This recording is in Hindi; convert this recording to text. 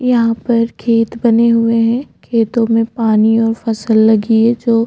यहाँ पर खेत बने हुए हैं खेतों में पानी और फसल लगी है जो --